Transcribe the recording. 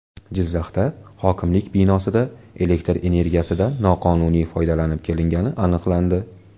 Jizzaxda hokimlik binosida elektr energiyasidan noqonuniy foydalanib kelingani aniqlandi.